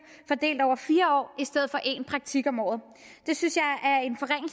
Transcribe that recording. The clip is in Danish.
fordelt over fire år i stedet for en praktik om året det synes